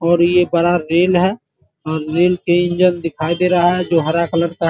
और ये बड़ा रेल है और रेल के इंजन दिखाई दे रहा है जो हरा कलर का --